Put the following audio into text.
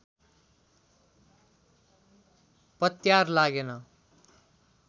पत्यार लागेन